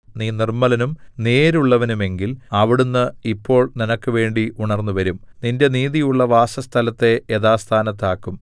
നീ നിർമ്മലനും നേരുള്ളവനുമെങ്കിൽ അവിടുന്ന് ഇപ്പോൾ നിനക്ക് വേണ്ടി ഉണർന്നുവരും നിന്റെ നീതിയുള്ള വാസസ്ഥലത്തെ യഥാസ്ഥാനത്താക്കും